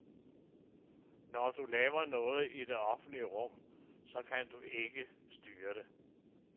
Men når du laver noget i det offentlige rum, så kan du ikke styre det.